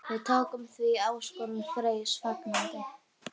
Við tókum því áskorun Freys fagnandi.